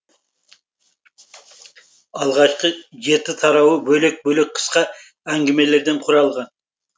алғашқы жеті тарауы бөлек бөлек қысқа әнгімелерден құралған